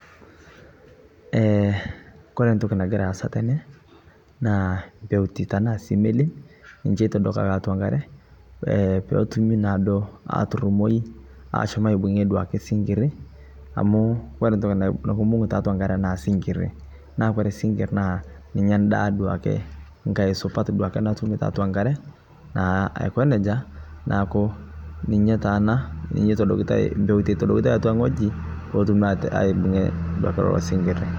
Eeh kore ntokii nagira aasa tene naa mpeutii tana sii meliin ninchee eitodokaa atua nkaare pee etuumi naado aturumoi ashomo aibung'ee duake sing'irii, amu kore ntokii nikubung'u te atua nkaare naa sing'rii naa kore sing'rii naa ninyee ndaa duake nkaai supaat duake natuumi te atua nkaare naa aa aikoo nejaa naaku ninyee taa ana ninye etodokitai mpeuti eitodokitai atua wueji pee etuumi aibung'ie kuloo sing'irii.